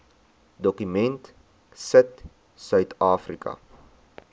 dokument sit suidafrika